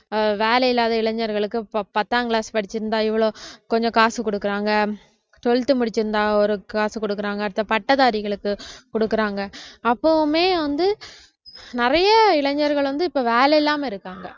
அஹ் வேலை இல்லாத இளைஞர்களுக்கு பத்~ பத்தாம் class படிச்சிருந்தா இவ்வளவு கொஞ்சம் காசு கொடுக்குறாங்க twelfth முடிச்சிருந்தா ஒரு காசு கொடுக்குறாங்க அடுத்த பட்டதாரிகளுக்கு கொடுக்குறாங்க அப்பவுமே வந்து நிறைய இளைஞர்கள் வந்து இப்ப வேலை இல்லாம இருக்காங்க